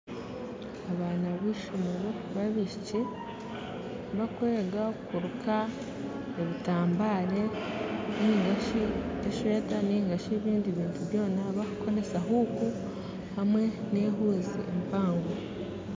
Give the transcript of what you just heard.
Abaana ba ishomero ba abaishiki bakwega kuruka ebitambare ninga esweta nari ebintu ebindi bakukoresa huuku hamwe na ehuuzi mpango.